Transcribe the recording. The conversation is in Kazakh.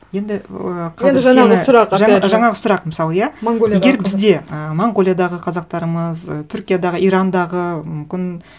енді ыыы енді жаңағы сұрақ опять же жаңағы сұрақ мысалы иә егер бізде монғолиядағы қазақтарымыз түркиядағы ирандағы мүмкін